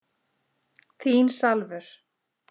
Þín Salvör.